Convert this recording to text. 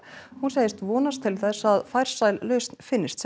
hún segist vonast til að farsæl lausn finnist